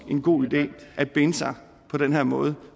en god idé at binde sig på den her måde